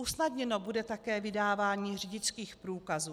Usnadněno bude také vydávání řidičských průkazů.